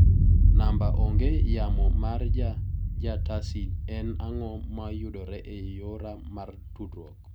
Namba ong'e yamo mar ja tasi, en ang'o ma yudore e yora mar tudruok?